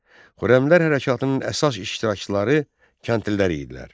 Xürrəmlər hərəkatının əsas iştirakçıları kəndlilər idilər.